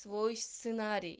твой сценарий